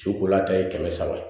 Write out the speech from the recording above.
Cokola ta ye kɛmɛ saba ye